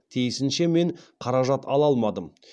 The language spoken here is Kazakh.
тиісінше мен қаражат ала алмадым